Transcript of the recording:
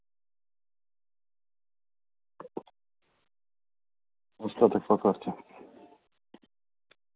остаток по карте